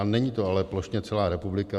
A není to ale plošně celá republika.